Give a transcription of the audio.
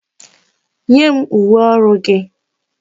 Nye m uwe ọrụ gị!